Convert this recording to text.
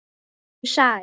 Vertu sæl.